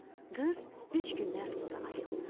Qız üç gündən sonra ayıldı.